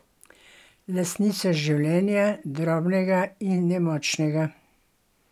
Lastnica življenja, drobnega in nemočnega?